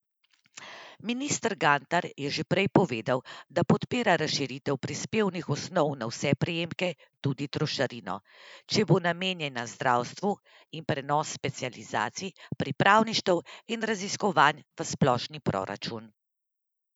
Minister Gantar je že prej povedal, da podpira razširitev prispevnih osnov na vse prejemke, tudi trošarino, če bo namenjena zdravstvu, in prenos specializacij, pripravništev in raziskovanj v splošni proračun.